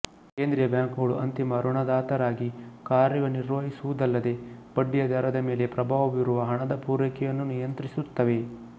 ಕೇಂದ್ರೀಯ ಬ್ಯಾಂಕುಗಳು ಅಂತಿಮ ಋಣದಾತರಾಗಿ ಕಾರ್ಯ ನಿರ್ವಹಿಸುವುದಲ್ಲದೆ ಬಡ್ಡಿಯ ದರದ ಮೇಲೆ ಪ್ರಭಾವ ಬೀರುವ ಹಣದ ಪೂರೈಕೆಯನ್ನು ನಿಯಂತ್ರಿಸುತ್ತವೆ